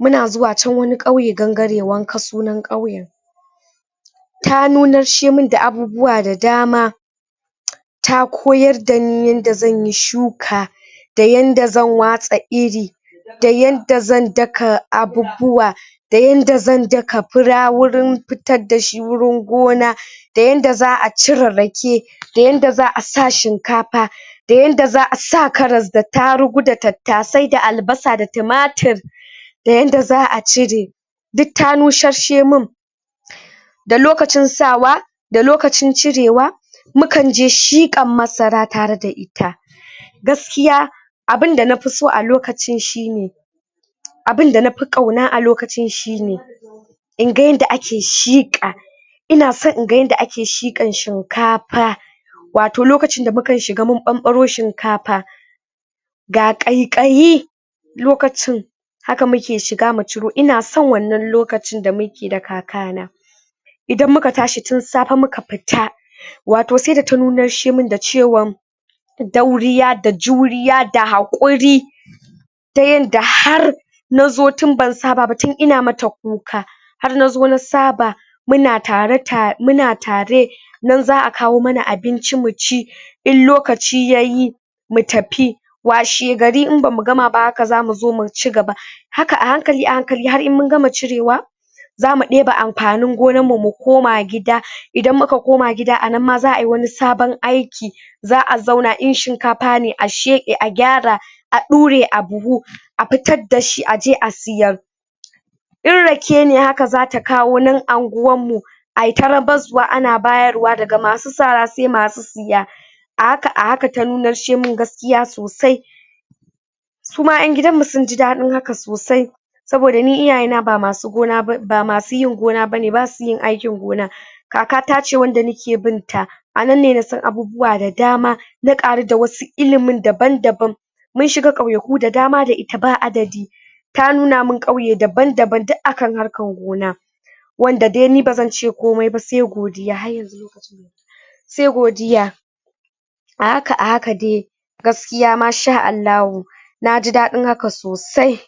muna zuwa can wani qauye gangare wanka sunan qauyen ta nuna she min da abubuwa da dama ta koyar dani yanda zanyi shuka da yanda zan watsa iri da yanda zan daka abubuwa da yanda zan daka fura wurin fitar dashi wurin gona da yanda za'a cire rake da yanda za'a sa shinkafa da yanda za'a sa karas ta tarugu da tattasai da albasa da timatir da yanda za'a cire dika ta nushashe min da lokacin sawa da lokacin cirewa mukanje shiqan masara tereda ita gaskiya abinda nafiso a lokacin shine abinda nafi qauna a lokacin shine inga yanda ake shiqa ina san inga yanda ake shiqan shinkafa wato lokacin da muka shiga mun banbaro shinkafa ga qaiqayi lokacin haka muke shiga mu ciro ina san wannan lokacin damuke da kakana idan muka tashi tin safe muka fita wato saida ta nunarshe min da cewan dauriya da juriya da hakuri ta yanda har nazo tin ban saba ba nazo ina mata dauka har nazo na saba muna tare ta muna tare nan za'a kawo mana abinci muci in lokaci yayi mu tafi washe gari in bamu gama ba haka zamu zo mu cigaba haka a hankali a hankali har in mun gama cirewa zamu deba amfanin gonan mu mukoma gida anan ma zaayi wani sabon aiki za'a zauna in shinkafa ne a sheqe a gyara a dure a buhu a fitar dashi a je a siyar in rake ne haka zata kawo nan angwanmu aita rabaswa ana bayarwa ga masu sara sai masu siya a haka a haka ta nunarshe min gaskiya sosai suma yan gidanmu sin ji dadin haka sosai saboda ni iyayena ba masu yin gona bane basuyin aikin gona kakata ce wanda nake bin ta anan ne nasan abubuwa da dama na qaru da wasu ilimin daban daban mun shiga qauyeku da dama da ita ba adadi ta nuna min qauye daban daban dik akan harkan gona wanda dai ni bazance komaiba sai godiya ahaka sai godiya ahaka ahaka dai gaskiya Masha Allahu na jidadin haka sosai